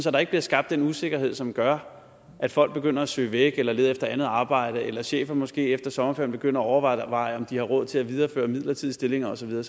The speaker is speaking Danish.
at der ikke bliver skabt den usikkerhed som gør at folk begynder at søge væk eller lede efter andet arbejde eller at chefer måske efter sommerferien begynder at overveje om de har råd til videreføre midlertidige stillinger og så videre